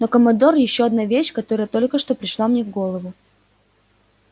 но командор ещё одна вещь которая только что пришла мне в голову